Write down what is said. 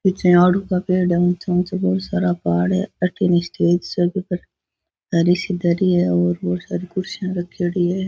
पीछे आड़ू का पेड़ है ऊंचे ऊंचे बहुत सारा पहाड़ है अठीन स्टेज सा दरी सी धरी है और बहोत सारी कुर्सियां रखेड़ी है।